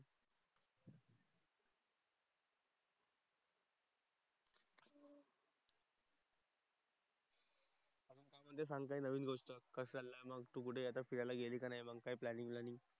आणखी काय सांगताय नवीन गोष्ट? कसं चाललंय मग? तू कुठे आता फिरायला गेली का नाही? मग काय प्लॅनिंग वॅनिंग?